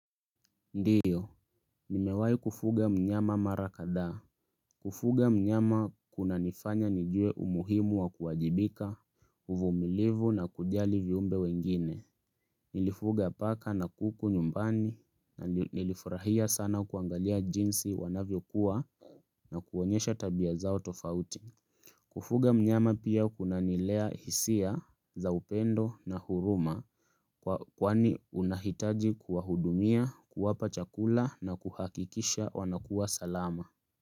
Ndiyo, nimewahi kufuga mnyama mara kadhaa Kufuga mnyama kunanifanya nijue umuhimu wa kuwajibika, uvumilivu na kujali viumbe wengine Nilifuga paka na kuku nyumbani na nilifurahia sana kuangalia jinsi wanavyokuwa na kuonyesha tabia zao tofauti Kufuga mnyama pia kunanilea hisia za upendo na huruma. Kwani unahitaji kuwa hudumia, kuwapa chakula na kuhakikisha wanakua salama.